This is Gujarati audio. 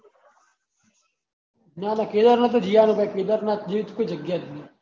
ના ના કેદારનાથ તો જી આવાનું ભાઈ કેદારનાથ જેવી કોઈ જગ્યા જ નહિ